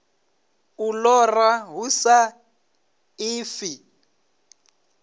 u lora hu sa ḓifhi